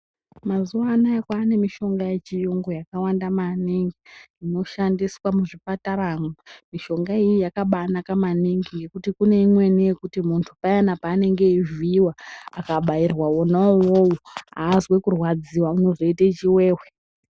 Muzuwa anawa kwane mushonga yechiyungu yakawanda maningi inoshandiswa muzvipataramo mishonga yona iyoyo yakabanaka maningi yekuti kune imweni yekuti mundu payana paanenge eyivhiyiwa akabairwa wona uwowo azwi kurwaradziwa unozoyiite chiwewe.